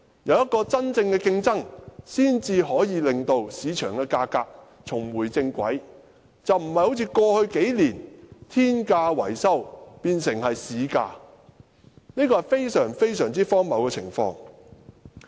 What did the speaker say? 有真正的競爭，市場價格才能重回正軌，不再好像過去數年般，維修工程的天價變成市價，這是非常荒謬的情況。